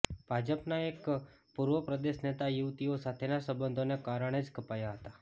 ભાજપના એક પૂર્વ પ્રદેશ નેતા યુવતીઓ સાથેના સંબંધોને કારણે જ કપાયા હતા